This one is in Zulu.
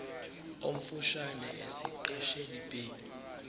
omfushane esiqeshini b